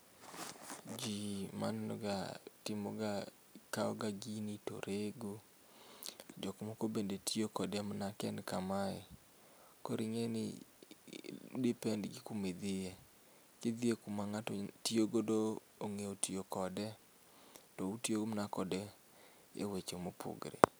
Jii maneno ga, timoga, kaw ga gini to rego, jok moko bende tiyo kode ka en kamae. Koro ingeni depend gi kuma idhiye, ka idhie kuma ng'ato tiyo godo, onge tiyo kode to utiyo mana kode e weche ma opogore